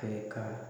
Fɛ ka